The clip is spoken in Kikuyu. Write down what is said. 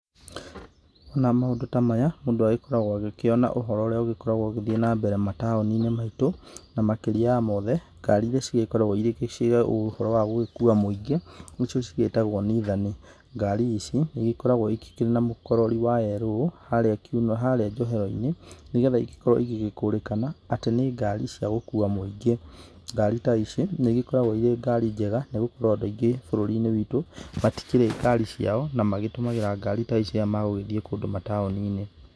Wona maũndũ ta maya mũndũ agĩkoragwo agĩkĩona ũhoro ũrĩa ũkoragwo ũgĩthiĩ na mbere mataũni-inĩ maitũ na makĩria ya mothe, ngari iria cigĩkoragwo irĩ cia ũhoro wa gũgĩkua mũingĩ ni cio cigĩtagwo nithani. Ngari ici nĩigĩgĩkoragwo ikĩrĩ na mũkorori wa yerũ harĩa njohero-inĩ nĩ getha igĩgĩkorwo igĩkũrĩkana atĩ nĩ ngari ciagũgĩkua mũingĩ. Ngari ta ici nĩ igĩkoragwo irĩ ngari njega nĩ gũkorwo andũ aingĩ bũrũri-inĩ witũ matikĩrĩ ngari ciao na magĩtũmagĩra ngari ta ici rĩrĩa magũgĩthii kũndũ mataũni-inĩ.